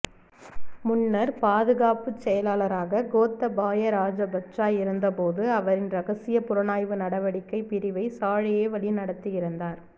முன்னர் பாதுகாப்புச் செயலாளராக கோத்தபாய ராஜபச்சா இருந்த போது அவரின் இரகசிய புலனாய்வு நடவடிக்கை பிரிவை சாலேயே வழிநடத்தியிருந்தார்